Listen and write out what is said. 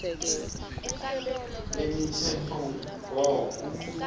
lemitsetfomgomo